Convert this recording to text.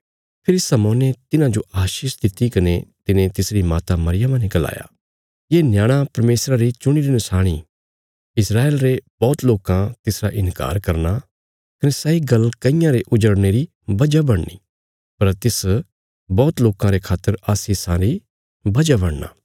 फेरी शमौने तिन्हाजो आशीष दित्ति कने तिने तिसरी माता मरियमा ने गलाया ये न्याणा परमेशरा री चुणीरी नशाणी इ इस्राएल रे बौहत लोकां तिसरा इन्कार करना कने सैई गल्ल कईयां रे उजड़ने री वजह बणनी पर तिस बौहत लोकां रे खातर आशीषा री वजह बणना